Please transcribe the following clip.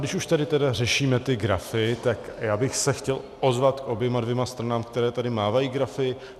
Když už tady teda řešíme ty grafy, tak já bych se chtěl ozvat k oběma dvěma stranám, které tady mávají grafy.